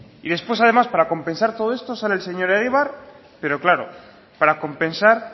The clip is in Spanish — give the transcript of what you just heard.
y después además para compensar todo esto sale el señor egibar pero claro para compensar